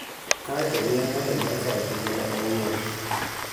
Kae to nianig'ado mar kawo tinig'nia awuoni".